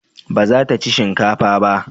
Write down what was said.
Ba za ta ci shinkafa ba?